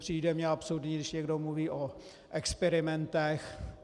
Přijde mně absurdní, když někdo mluví o experimentech.